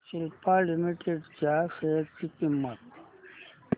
Cipla limited च्या share ची किंमत